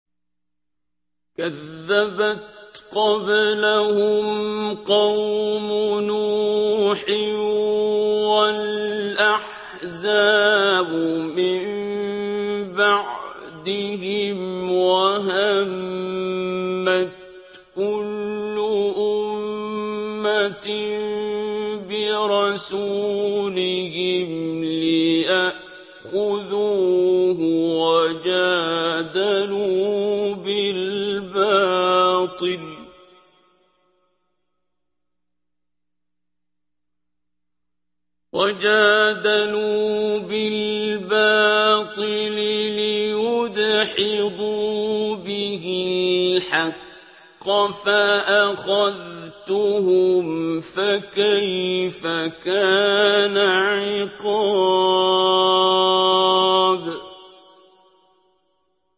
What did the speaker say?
كَذَّبَتْ قَبْلَهُمْ قَوْمُ نُوحٍ وَالْأَحْزَابُ مِن بَعْدِهِمْ ۖ وَهَمَّتْ كُلُّ أُمَّةٍ بِرَسُولِهِمْ لِيَأْخُذُوهُ ۖ وَجَادَلُوا بِالْبَاطِلِ لِيُدْحِضُوا بِهِ الْحَقَّ فَأَخَذْتُهُمْ ۖ فَكَيْفَ كَانَ عِقَابِ